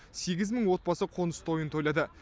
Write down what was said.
сегіз мың отбасы қоныс тойын тойлады